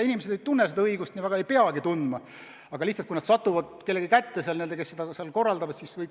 Inimesed ei tunne eriti seadusi ja ei peagi tundma, aga nii nad võivad sattuda kellegi kätte, kes neid asju ühistutes korraldavad.